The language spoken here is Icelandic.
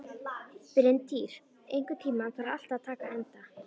Bryntýr, einhvern tímann þarf allt að taka enda.